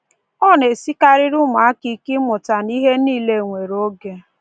Ọ na-esikarịrị ụmụaka ike ịmụta na ihe nile nwere oge.